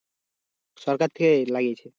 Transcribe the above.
সরকার থেকে লাগিয়েছে?